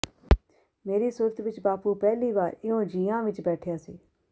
ਮੇਰੀ ਸੁਰਤ ਵਿਚ ਬਾਪੂ ਪਹਿਲੀ ਵਾਰ ਇਉਂ ਜੀਆਂ ਵਿਚ ਬੈਠਿਆ ਸੀ